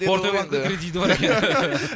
форте банкте кредиті бар екен